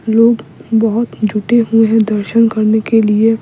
लोग बहुत जुटे हुए हैं दर्शन करने के लिए --